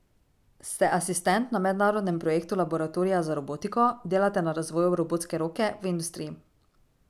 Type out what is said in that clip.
Ste asistent na mednarodnem projektu Laboratorija za robotiko, delate na razvoju robotske roke v industriji.